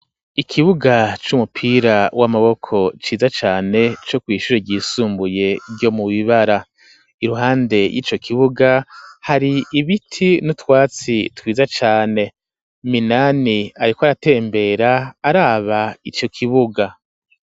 Ikibuga c'umupira w'amaboko ciza cane, co kw'ishure ryisumbuye ryo mu Bibara, iruhande y'ico kibuga hari ibiti n'utwatsi twiza cane, Minani ariko aratembera, araba ico kibuga.